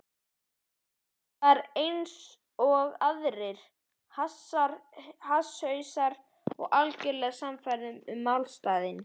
Ég var einsog aðrir hasshausar, algjörlega sannfærður um málstaðinn.